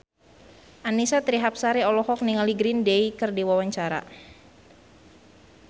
Annisa Trihapsari olohok ningali Green Day keur diwawancara